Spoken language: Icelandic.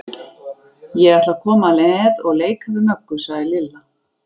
Ég ætla að koma með og leika við Möggu, sagði Lilla.